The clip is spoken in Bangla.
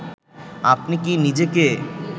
আপনি কী নিজেকে